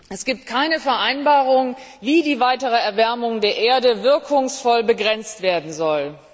Es gibt keine Vereinbarung, wie die weitere Erwärmung der Erde wirkungsvoll begrenzt werden soll.